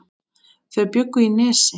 Þau bjuggu í Nesi.